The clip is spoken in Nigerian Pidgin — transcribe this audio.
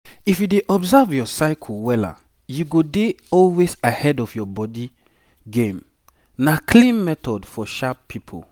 if you dey observe your cycle wella you go dey always ahead of your body game na clean method for sharp people.